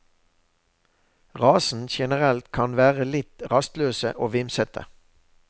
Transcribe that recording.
Rasen generelt kan være litt rastløse og vimsete.